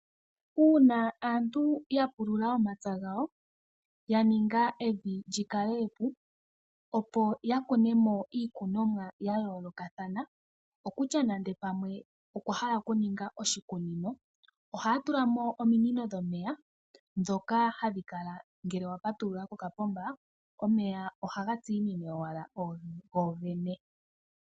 Uuna aantu ya pulula omapya gawo ya ninga evi lyi kale epu, opo ya kune mo iikunomwa ya yoolokathana okutya nande pamwe okwa hala okuninga oshikunino ohaa tula mo ominino dhomeya, ndhoka hadhi kala ngele wa patulula kokapomba omeya ohaga tsiinine owala go gene.